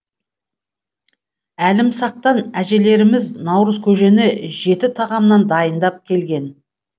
әлімсақтан әжелеріміз наурызкөжені жеті тағамнан дайындап келген